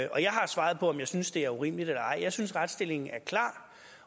og jeg har svaret på om jeg synes det er urimeligt eller ej jeg synes retsstillingen er klar